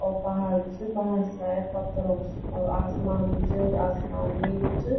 और पहाड़ भी च पहाड़ सायद पत्थरों क च और आसमान भी च आसमान नीलू च।